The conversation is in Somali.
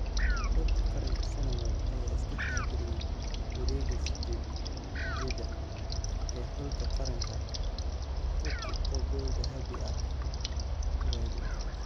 Xulka qaranka Senegal ayaa iska xaadiriyay wareega 8-da ee xulka qaranka Turkey oo gool dahabi ah ku reebay.